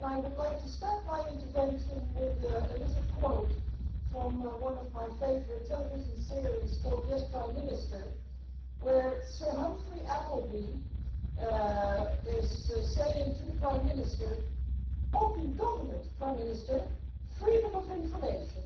I would like to start my intervention with a little quote from one of my favourite television series, called Yes, Prime Minister', where Sir Humphrey Appleby is saying to the Prime Minister open government, Prime Minister, freedom of information.